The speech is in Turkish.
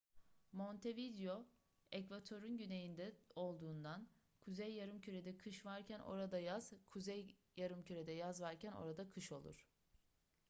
montevideo ekvatorun güneyinde olduğundan kuzey yarımkürede kış varken orada yaz kuzey yarımkürede yaz varken orada kış olur